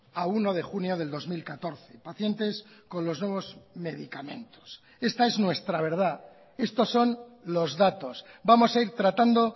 a uno de junio del dos mil catorce pacientes con los nuevos medicamentos esta es nuestra verdad estos son los datos vamos a ir tratando